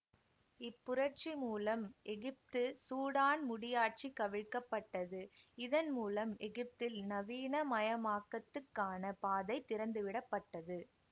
இப் புரட்சி மூலம் எகிப்து சூடான் முடியாட்சி கவிழ்க்கப்பட்டது இதன் மூலம் எகிப்தில் நவீனமயமாக்கத்துக்கான பாதை திறந்துவிடப்பட்டது